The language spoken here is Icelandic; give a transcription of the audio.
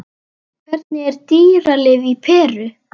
Hvernig er dýralíf í Perú?